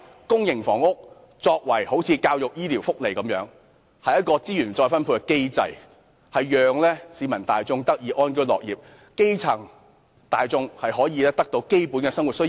公營房屋政策便一如教育、醫療及福利般，是資源再分配的機制，讓市民大眾得以安居樂業，基層市民可以滿足基本生活需要。